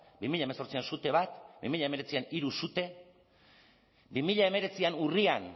bi mila hemezortzian sute bat bi mila hemeretzian hiru sute bi mila hemeretzian urrian